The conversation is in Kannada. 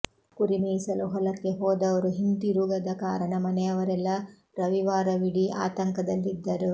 ಕುರಿ ಮೇಯಿಸಲು ಹೊಲಕ್ಕೆ ಹೋದವರು ಹಿಂದಿರುಗದ ಕಾರಣ ಮನೆಯವರೆಲ್ಲ ರವಿವಾರವೀಡೀ ಆತಂಕದಲ್ಲಿದ್ದರು